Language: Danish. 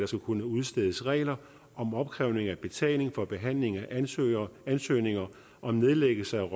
skal kunne udstedes regler om opkrævning af betaling for behandling af ansøgninger ansøgninger om nedlæggelse